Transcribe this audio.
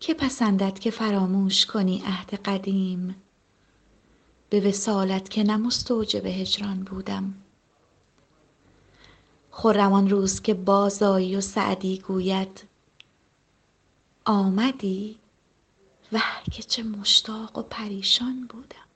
که پسندد که فراموش کنی عهد قدیم به وصالت که نه مستوجب هجران بودم خرم آن روز که بازآیی و سعدی گوید آمدی وه که چه مشتاق و پریشان بودم